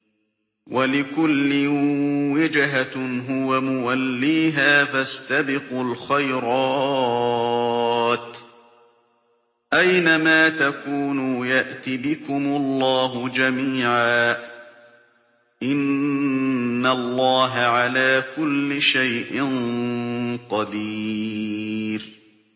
وَلِكُلٍّ وِجْهَةٌ هُوَ مُوَلِّيهَا ۖ فَاسْتَبِقُوا الْخَيْرَاتِ ۚ أَيْنَ مَا تَكُونُوا يَأْتِ بِكُمُ اللَّهُ جَمِيعًا ۚ إِنَّ اللَّهَ عَلَىٰ كُلِّ شَيْءٍ قَدِيرٌ